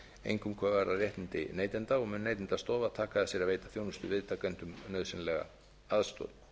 einkum hvað varðar réttindi neytenda og mun neytendastofa taka að sér að veita þjónustuviðtakendum nauðsynlega aðstoð